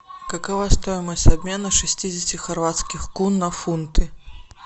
какова стоимость обмена шестидесяти хорватских кун на фунты